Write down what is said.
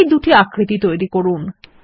এই দুটি আকৃতি তৈরি করুন